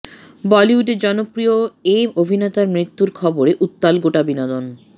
বলিউডের জনপ্রিয় এ অভিনেতার মৃত্যুর খবরে উত্তাল গোটা বিনোদন